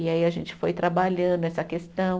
E aí a gente foi trabalhando essa questão.